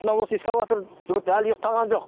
мына осы экскаватор жігіт әлі ұйықтаған жоқ